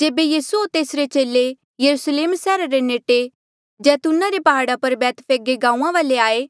जेबे यीसू होर तेसरे चेले यरुस्लेम सैहरा रे नेडे जैतूना रे प्हाड़ा पर बैतफगे गांऊँआं वाले आये